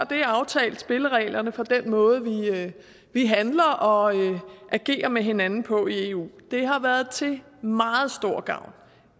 det aftalt spillereglerne for den måde vi handler og agerer med hinanden på i eu det har været til meget stor gavn